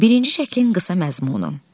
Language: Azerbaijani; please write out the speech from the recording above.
Birinci şəklin qısa məzmunu.